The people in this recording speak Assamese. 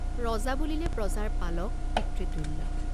ৰজা বুলিলে প্ৰজাৰ পালক, পিতৃ তুল্য।